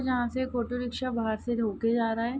यहाँ से एक ऑटो रिक्शा बाहर से होके जा रहा है।